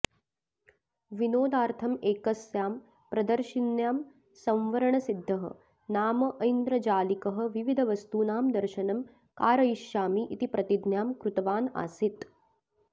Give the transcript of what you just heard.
विनोदार्थं एकस्यां प्रदर्शिन्यां संवरणसिद्धः नाम ऐन्द्रजालिकः विविधवस्तूनां दर्शनं कारयिष्यामि इति प्रतिज्ञां कृतवान् आसीत्